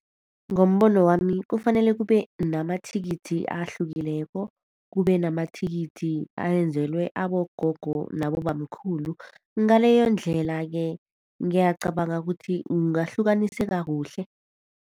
Ngombono wami kufanele kube namathikithi ahlukileko, kube namathikithi enzelwe abogogo nabobamkhulu. Ngaleyondlela-ke ngiyacabanga ukuthi kungahlukaniseka kuhle.